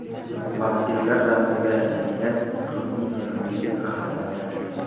Vampirlar ramziga aylangan Ruminiya milliy qahramoni.